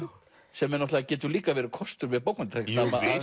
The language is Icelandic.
sem getur líka verið kostur við bókmenntatexta